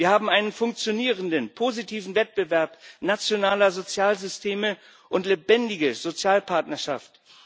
Wir haben einen funktionierenden positiven Wettbewerb nationaler Sozialsysteme und lebendige Sozialpartnerschaft.